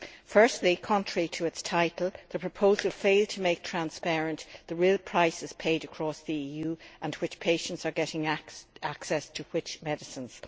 Firstly, contrary to its title, the proposal failed to make transparent the real prices paid across the EU, or which patients are getting access to which medicines.